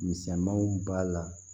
Misɛnmanw b'a la